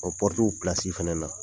O pɔrutuw pilasiw fana na